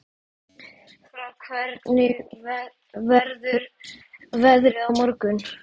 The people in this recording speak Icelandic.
Frár, hvernig verður veðrið á morgun?